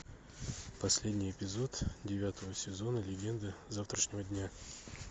последний эпизод девятого сезона легенды завтрашнего дня